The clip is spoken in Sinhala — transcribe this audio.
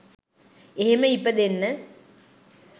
එහෙම ඉපදෙන්න